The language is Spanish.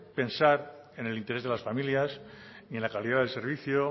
pensar en el interés de las familias ni en la calidad del servicio